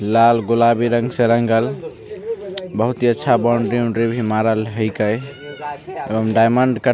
लाल गुलाबी रंग से रंगल बहुत ही अच्छा बॉउंड्री उंड्री मारल हीके डायमंड कट --